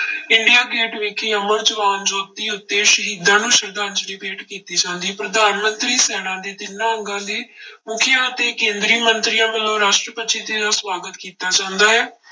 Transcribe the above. India Gate ਵਿਖੇ ਅਮਰ ਜਵਾਨ ਜੋਤੀ ਉੱਤੇ ਸ਼ਹੀਦਾਂ ਨੂੰ ਸਰਧਾਂਜਲੀ ਭੇਟ ਕੀਤੀ ਜਾਂਦੀ, ਪ੍ਰਧਾਨ ਮੰਤਰੀ ਸੈਨਾ ਦੇ ਤਿੰਨਾਂ ਅੰਗਾਂ ਦੇ ਮੁੱਖੀਆਂ ਅਤੇ ਕੇਂਦਰੀ ਮੰਤਰੀਆਂ ਵੱਲੋਂ ਰਾਸ਼ਟਰਪਤੀ ਜੀ ਦੀ ਸਵਾਗਤ ਕੀਤਾ ਜਾਂਦਾ ਹੈ।